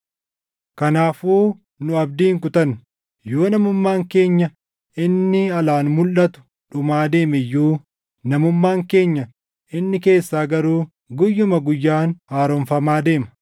Kanaafuu nu abdii hin kutannu. Yoo namummaan keenya inni alaan mulʼatu dhumaa deeme iyyuu, namummaan keenya inni keessaa garuu guyyuma guyyaan haaromfamaa deema.